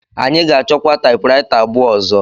Anyị ga-achọkwa taịpụraịta abụọ ọzọ.